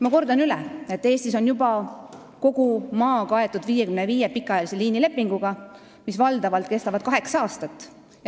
Ma kordan üle, et kogu Eesti on juba kaetud 55 pikaajalise liinilepinguga, mis valdavalt kestavad kaheksa aastat.